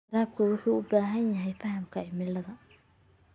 Waraabka wuxuu u baahan yahay fahamka cimilada.